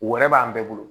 Wɛrɛ b'an bɛɛ bolo